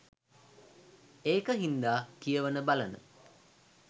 ඒක හින්දා කියවන බලන